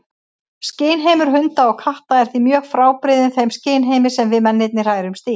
Skynheimur hunda og katta er því mjög frábrugðinn þeim skynheimi sem við mennirnir hrærumst í.